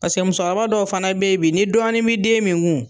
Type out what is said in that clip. Paseke musokɔrɔba dɔw fana be ye bi ni dɔɔnin be den min kun